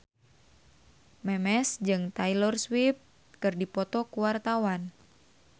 Memes jeung Taylor Swift keur dipoto ku wartawan